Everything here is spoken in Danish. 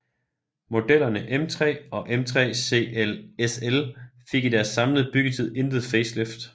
Modellerne M3 og M3 CSL fik i deres samlede byggetid intet facelift